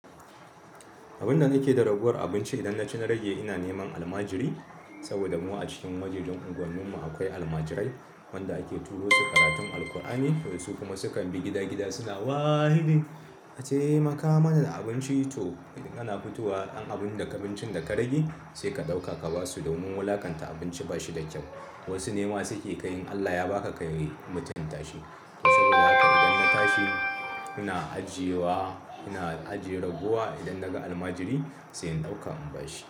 Abunda nake da raguwar abinci idan nace na rage ina neman almajiri saboda mu a cikin wajejan unguwar mu akwai almajirai wanda ake turo su karatun Alkur'ani su kuma sukan bi gida gida suna waahidi ataimaka mana da abinci to idan ana fitowa ɗan abun daga abincin da ka rage sai ka ɗauka ka basu domin wulaƙanta abinci ba shi da kyau wasu nema suke kai in Allah ya baka kayi mutumtashi to saboda haka idan na tashi ina ajiyewa ina ajiyewa raguwa idan naga almajiri sai in ɗauka in ba shi.